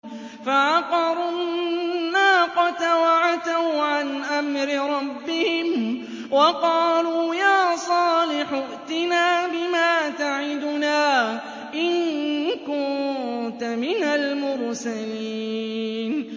فَعَقَرُوا النَّاقَةَ وَعَتَوْا عَنْ أَمْرِ رَبِّهِمْ وَقَالُوا يَا صَالِحُ ائْتِنَا بِمَا تَعِدُنَا إِن كُنتَ مِنَ الْمُرْسَلِينَ